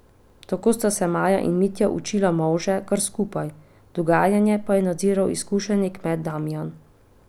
Tako sta se Maja in Mitja učila molže kar skupaj, dogajanje pa je nadziral izkušeni kmet Damijan.